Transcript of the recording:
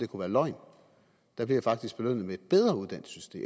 kunne være løgn blev jeg faktisk belønnet med et bedre su system